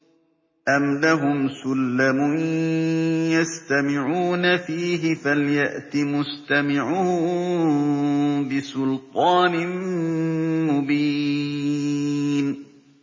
أَمْ لَهُمْ سُلَّمٌ يَسْتَمِعُونَ فِيهِ ۖ فَلْيَأْتِ مُسْتَمِعُهُم بِسُلْطَانٍ مُّبِينٍ